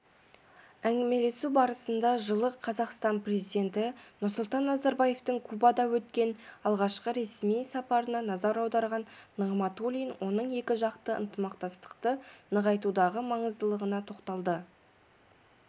әңгімелесу барысында жылы қазақстан президенті нұрсұлтан назарбаевтың кубада өткен алғашқы ресми сапарына назар аударған нығматулин оның екіжақты ынтымақтастықты нығайтудағы маңыздылығына тоқталды